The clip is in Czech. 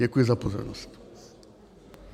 Děkuji za pozornost.